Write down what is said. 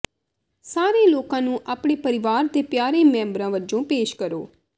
ਸਾਰੇ ਲੋਕਾਂ ਨੂੰ ਆਪਣੇ ਪਰਿਵਾਰ ਦੇ ਪਿਆਰੇ ਮੈਂਬਰ ਵਜੋਂ ਪੇਸ਼ ਕਰੋ